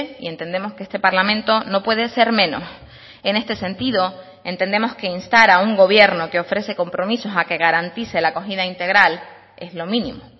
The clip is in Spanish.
y entendemos que este parlamento no puede ser menos en este sentido entendemos que instar a un gobierno que ofrece compromisos a que garantice la acogida integral es lo mínimo